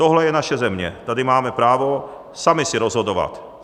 Tohle je naše země, tady máme právo sami si rozhodovat.